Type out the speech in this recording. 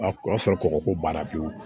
A o y'a sɔrɔ kɔkɔ ko b'a la pewu